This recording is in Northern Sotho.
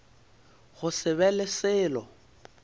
go se be le selo